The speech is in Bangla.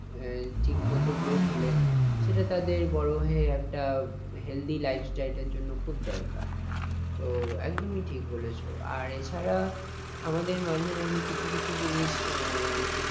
এ ঠিকমতো growth হলে সেটা তাদের বড় হয়ে একটা healthy lifestyle এর জন্য খুব দরকার। তো একদমই ঠিক বলেছ আর এ ছাড়া আমাদের মাঝে মাঝে কিছু কিছু জিনিস এ